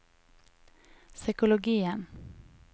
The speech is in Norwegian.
psykologien